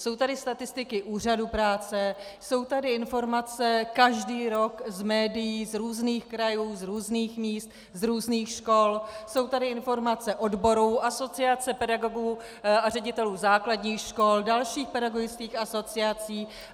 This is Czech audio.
Jsou tady statistiky Úřadu práce, jsou tady informace každý rok z médií, z různých krajů, z různých míst, z různých škol, jsou tady informace odborů, Asociace pedagogů a ředitelů základních škol, dalších pedagogických asociací.